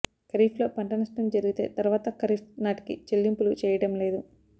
ఖరీఫ్లో పంట నష్టం జరిగితే తర్వాత ఖరీఫ్ నాటికీ చెల్లింపులు చేయడం లేదు